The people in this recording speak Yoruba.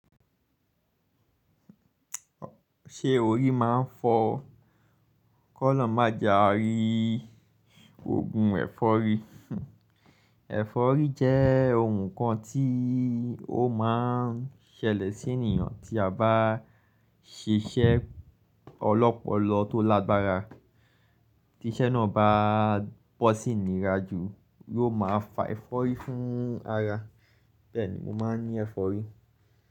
Ṣé orí máa ń fọ ò? Kọ́ lọ́ má ja rí, ògùn ẹ̀fọ́rí. Ẹ̀fọ́rí jẹ́ óhún kan tí ó máa ń ṣẹlẹ̀ sí ènìyàn tí a bá ṣiṣẹ́ ọlọ́pọlọ tó lágbára. Tí iṣẹ́ náà bá bọ́ sí ìnira jù yóò máa fa ẹ̀fọ́rí fún arárá. Bẹ́ẹ̀ ní moó máa ń ní ẹ̀fọ́rí.